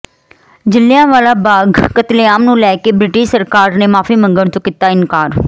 ਜਲਿਆਂਵਾਲਾ ਬਾਗ ਕਤਲੇਆਮ ਨੂੰ ਲੈ ਕੇ ਬ੍ਰਿਟਿਸ਼ ਸਰਕਾਰ ਨੇ ਮਾਫੀ ਮੰਗਣ ਤੋਂ ਕੀਤਾ ਇਨਕਾਰ